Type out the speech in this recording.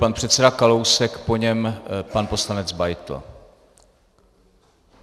Pan předseda Kalousek, po něm pan poslanec Beitl.